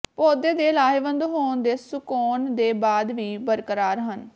ਪੌਦੇ ਦੇ ਲਾਹੇਵੰਦ ਹੋਣ ਦੇ ਸੁਕਾਉਣ ਦੇ ਬਾਅਦ ਵੀ ਬਰਕਰਾਰ ਹਨ